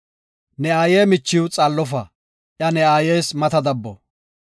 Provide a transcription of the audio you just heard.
“Ne aaye michiw xaallofa; iya ne aayes mata dabbo.